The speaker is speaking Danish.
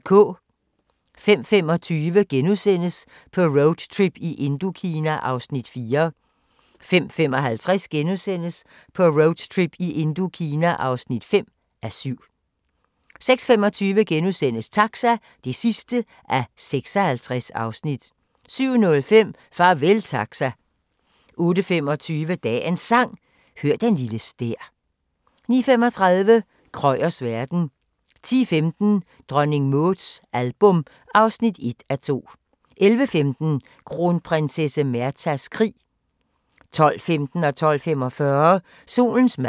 05:25: På roadtrip i Indokina (4:7)* 05:55: På roadtrip i Indokina (5:7)* 06:25: Taxa (56:56)* 07:05: Farvel Taxa 08:25: Dagens Sang: Hør den lille stær 09:35: Krøyers verden 10:15: Dronning Mauds album (1:2) 11:15: Kronprinsesse Märthas krig 12:15: Solens mad 12:45: Solens mad